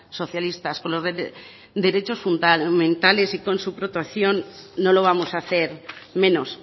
socialistas con los derechos fundamentales y con su protección no lo vamos a hacer menos